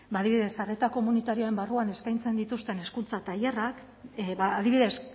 ba adibidez arreta komunitarioaren barruan eskaintzen dituzten hezkuntza tailerrak adibidez